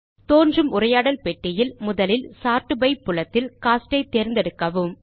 தோன்றும் உரையாடல் பெட்டியில் முதலில் சோர்ட் பை புலத்தில் கோஸ்ட் ஐ தேர்ந்தெடுக்கவும்